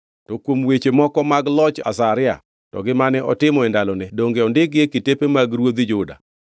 To kuom weche moko mag loch Azaria to gi mane otimo e ndalone donge ondikgi e kitepe mag ruodhi Juda.